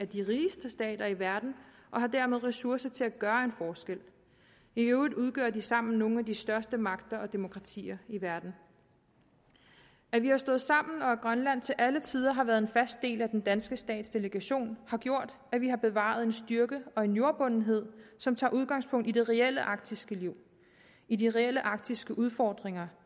de rigeste stater i verden og har dermed ressourcer til at gøre en forskel i øvrigt udgør de sammen nogle af de største magter og demokratier i verden at vi har stået sammen og at grønland til alle tider har været en fast del af den danske stats delegation har gjort at vi har bevaret en styrke og en jordbundethed som tager udgangspunkt i det reelle arktiske liv i de reelle arktiske udfordringer